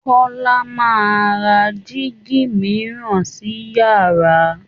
Kọ́la máa ra digi mìíràn si yàrá